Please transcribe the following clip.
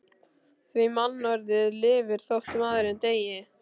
Því mannorðið lifir þótt maðurinn deyi.